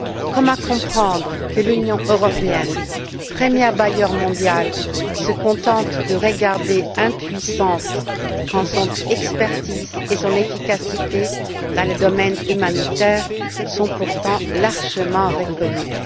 Comment comprendre que l'Union européenne, premier bailleur mondial, se contente de regarder impuissante quand son expertise et son efficacité dans le domaine humanitaire sont pourtant largement reconnues?